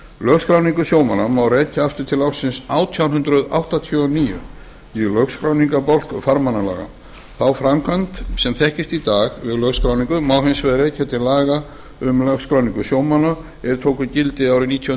lögskráningu sjómanna má rekja aftur til ársins átján hundruð áttatíu og níu í lögskráningarbálk farmannalaga þá framkvæmd sem þekkist í dag við lögskráningu má hins vegar rekja til laga um lögskráningu sjómanna er tóku gildi árið nítján